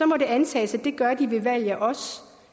må det antages at det gør de ved valg af os